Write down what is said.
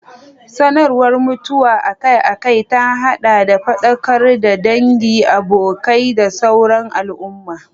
Sanarwar mutuwa akai-akai ta haɗa da faɗakar da dangi, abokai, da sauran al'umma.